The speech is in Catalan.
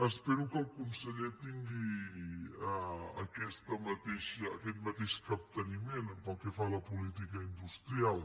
espero que el conseller tingui aquest mateix capteniment pel que fa a la política industrial